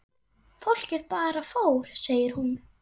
Fólkið bara fór segir hún.